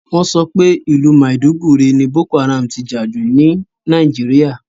Wọ́n sọ pé ìlú màìdúgùri ni Boko Haram ti jà jù ní Nàìjíríà